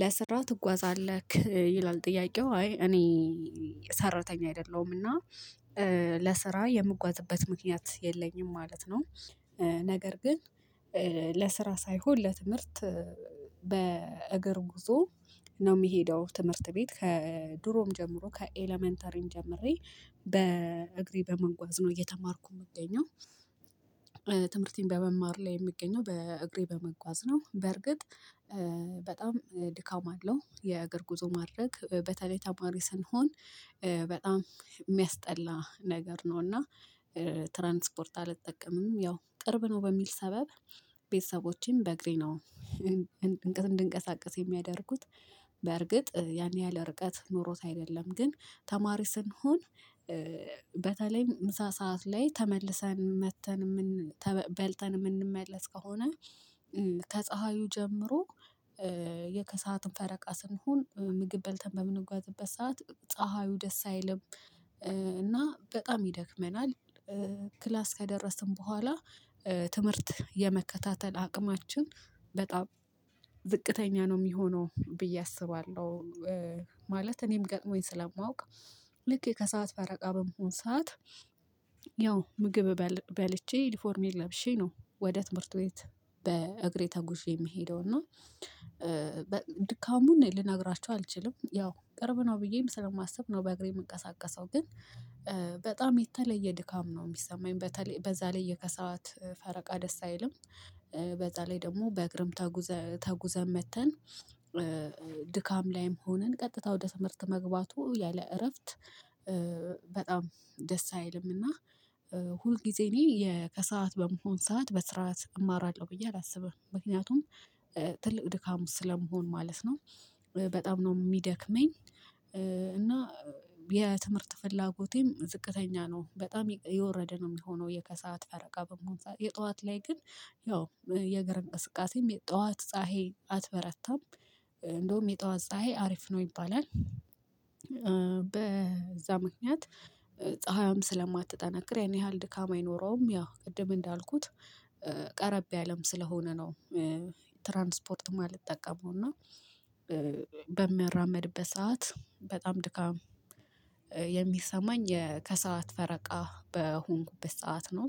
ለስራ ትጓዛለክ ይላል ጥያቄው አይ እኔ ሰራተኛ አይደለሁምና ለስራ የምጓዝበት ምክንያት የለኝም ማለት ነው። ነገር ግን ለስራ ሳይሆን ለትምህርት። በእግር ጉዞ ነው የሚሄደው ትምህርት ቤት ከድሮም ጀምሮ ከኤለመንተሪም ጀምሬ በእግሬ በመጓዝ ነው እየተማርኩ የምገኘው። በመማር ላይ የምገኘው በእግሬ በመጓዝ ነው። በርግጥ በጣም ድካም አለው የእግር ጉዞ ማድረግ በተለይ ተማሪ ስንሆን በጣም የሚያስጠላ ነገር ነው። እና ትራንስፖርት አልጠቀምም ያው ቅርብ ነው በሚል ሰበብ ቤተሰቦቼም በእግሬ ነው። እንድንቀሳቀስ የሚያደርጉት በእርግጥ ያን ያህል ርቀት ኖሮት አይደለም ግን ተማሪ ስንሆን። በተለይም ምሳ ሰዓት ላይ ተመልሰን መጥተን በልተን የምንመለስ ከሆነ። ከፀሀዩ ጀምሮ የከሰአትም ፈረቃ ስንሆን ምግብ በልተን በምንጓዝበት ሰዓት ፀሀዩ ደስ አይልም እና በጣም ይደክመናል። ክላስ ከደረስን በኋላ ትምህርት የመከታተል አቅማችን በጣም ዝቅተኛ ነው የሚሆነው ብዬ አስባለሁ። ማለት እኔም ገጥሞኝ ስለማውቅ። ልክ ከሰአት ፈረቃ በመሆን ሰዓት ያው ምግብ በልቼ ዩኒፎርሜ ለብሼ ነው ወደ ትምህርት ቤት በእግሬ ተጉዤ የምሄደው እና። ድካሙን ልነግራችሁ አልችልም ያው ቅርብ ነው ብዬም ስለማስብ ነው። በእግሬ የምንቀሳቀሰው ግን በጣም የተለየ ድካም ነው የሚሰማኝ በዛ ላይ የከሰአት ፈረቃ ደስ አይልም። በዛ ላይ ደግሞ በእግርም ተጉዘን መጥተን። ድካም ላይም ሆነን ቀጥታ ወደ ትምህርት መግባቱ ያለ እረፍት በጣም ደስ አይልም እና። ሁል ጊዜ እኔ ከሰአት በመሆን ሰዓት በስርዓት እማራለሁ ብዬ አላስብም ምክንያቱም ትልቅ ድካም ስለምሆን ማለት ነው። በጣም ነው የሚደክመኝ። እና የትምህርት ፍላጎቴም ዝቅተኛ ነው በጣም የወረደ ነው የሚሆነው። የከሰአት ፈረቃ በመሆን የጠዋት ላይ ግን ያው የእግርም እንቅስቃሴም የጠዋት ፀሀይ አትበረታም እንደውም የጠዋት ፀሀይ አሪፍ ነው ይባላል። በዛ ምክንያት ጸሀያዋም ስለማትጠናከር ያን ያህል ድካም አይኖረውም። ያው ቅድም እንዳልኩት ቀረብ ያለም ስለሆነ ነው። ትራንስፖርት የማልጠቀመው እና በምራመድበት ሰዓት በጣም ድካም የሚሰማኝ ከሰአት ፈረቃ በሆንኩበት ሰዓት ነው።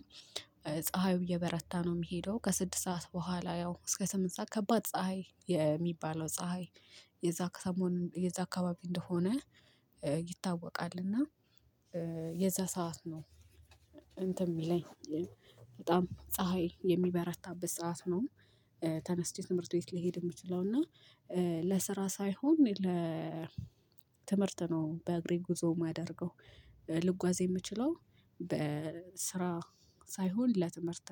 ጸሀዩ እየበረታ ነው የሚሄደው ከስድስት ሰዓት በኋላ ያው እስከ ስምንት ሰዓት ከባድ ፀሀይ የሚባለው ፀሀይ የዛ ከሰሞን የዛ አካባቢ እንደሆነ ይታወቃል። እና የዛ ሰዓት ነው። እንትን የሚለኝ በጣም ፀሀይ የሚበረታበት ሰዓት ነው። ተነስቼ ትምህርት ቤት ሊሄድ የምችለው እና ለስራ ሳይሆን ለ ትምህርት ነው በእግሬ ጉዞ የማደርገው ልጓዝ የምችለው በስራ ሳይሆን ለትምህርት